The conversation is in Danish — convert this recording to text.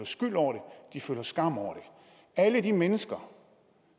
skyld over det de føler skam over det alle de mennesker